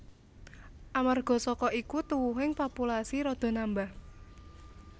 Amarga saka iku tuwuhing populasi rada nambah